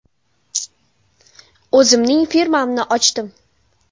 O‘zimning firmamni ochdim.